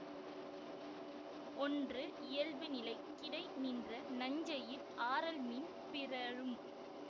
ஒன்று இயல்புநிலை கிடை நின்ற நன்செய்யில் ஆரல்மீன் பிறழும்